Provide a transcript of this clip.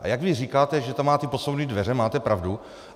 A jak vy říkáte, že tam máte posuvné dveře, máte pravdu.